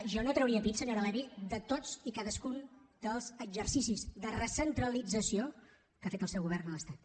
jo no trauria pit senyora levy de tots i cadascun dels exercicis de recentralització que ha fet el seu govern de l’estat